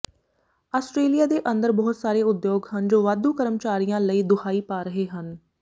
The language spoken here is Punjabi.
ਆਸਟਰੇਲੀਆ ਦੇ ਅੰਦਰ ਬਹੁਤ ਸਾਰੇ ਉਦਯੋਗ ਹਨ ਜੋ ਵਾਧੂ ਕਰਮਚਾਰੀਆਂ ਲਈ ਦੁਹਾਈ ਪਾ ਰਹੇ ਹਨ